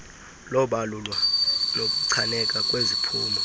lobalulwa nokuchaneka kweziphumo